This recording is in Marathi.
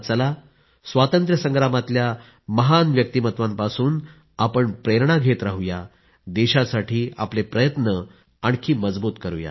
चला स्वातंत्र्यसंग्रामातल्या महान व्यक्तिमत्वांपासून प्रेरणा घेत राहू देशासाठी आपले प्रयत्न आणखी मजबूत करूया